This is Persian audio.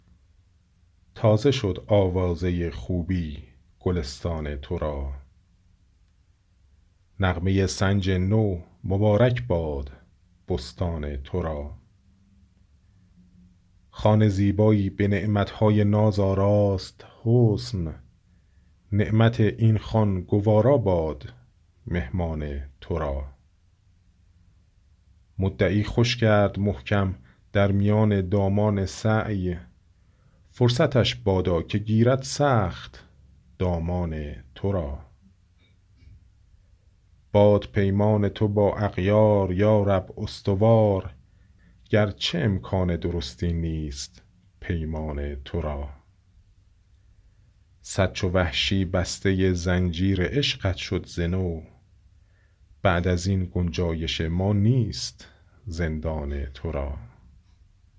تازه شد آوازه خوبی گلستان ترا نغمه سنج نو مبارک باد بستان ترا خوان زیبایی به نعمتهای ناز آراست حسن نعمت این خوان گوارا باد مهمان ترا مدعی خوش کرد محکم در میان دامان سعی فرصتش بادا که گیرد سخت دامان ترا باد پیمان تو با اغیار یارب استوار گرچه امکان درستی نیست پیمان ترا صد چو وحشی بسته زنجیر عشقت شد ز نو بعد از این گنجایش ما نیست زندان ترا